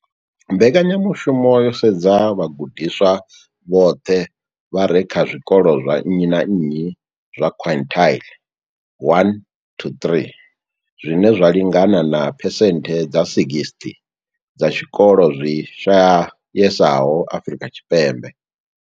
Mbekanya mushumo yo sedza vhagudiswa vhoṱhe vha re kha zwikolo zwa nnyi na nnyi zwa quintile 1-3, zwine zwa lingana na phesenthe dza 60 dza tshikolo zwi shayesaho Afrika Tshipembe.